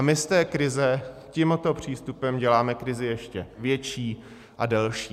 A my z té krize tímto přístupem děláme krizi ještě větší a delší.